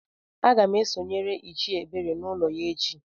Agam esonyere Ichie Ebere n'ulo ya echi.